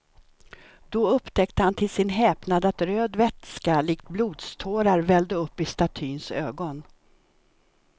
Då upptäckte han till sin häpnad att röd vätska likt blodstårar vällde upp i statyns ögon.